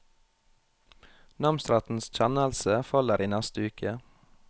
Namsrettens kjennelse faller i neste uke.